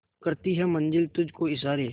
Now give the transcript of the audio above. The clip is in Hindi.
करती है मंजिल तुझ को इशारे